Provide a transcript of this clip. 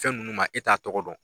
Fɛn ninnu ma e t'a tɔgɔ dɔn.